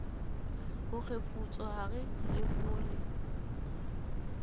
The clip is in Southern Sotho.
ho kgefutsohare le ho le